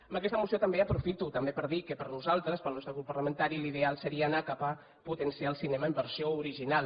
amb aquesta moció també aprofito per dir que per nosaltres pel nostre grup parlamentari l’ideal seria anar cap a potenciar el cinema en versió original